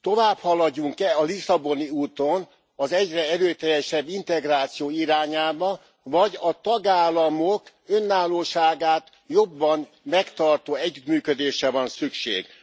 tovább haladjunk e a lisszaboni úton, az egyre erőteljesebb integráció irányába, vagy a tagállamok önállóságát jobban megtartó együttműködésre van szükség?